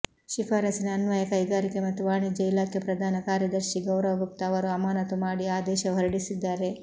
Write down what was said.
ಶಿಫಾರಸಿನ ಅನ್ವಯ ಕೈಗಾರಿಕೆ ಮತ್ತು ವಾಣಿಜ್ಯ ಇಲಾಖೆ ಪ್ರಧಾನ ಕಾರ್ಯದರ್ಶಿ ಗೌರವ್ ಗುಪ್ತಾ ಅವರು ಅಮಾನತು ಮಾಡಿ ಆದೇಶ ಹೊರಡಿಸಿದ್ದಾರೆ